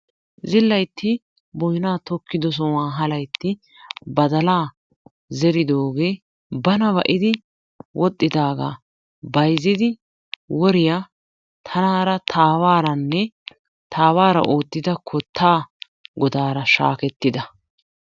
Zillaytti boyna tokkido sohuwan ha laytti badalaa zeridoogee bana ba"idi wodhdhidaga bayzzidi woriyaa tanaara ta aawaraanne ta aawaraa oottida kottaa godaara shakkida.